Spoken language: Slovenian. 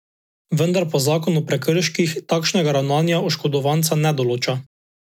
Vendar pa zakon o prekrških takšnega ravnanja oškodovanca ne določa.